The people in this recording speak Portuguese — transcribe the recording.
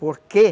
Por quê?